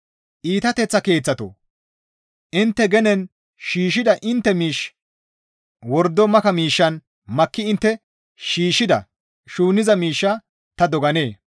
Iitateththa keeththatoo! Intte genen shiishshida intte miish wordo maka miishshan makki intte shiishshida shuunniza miishshaa ta doganee?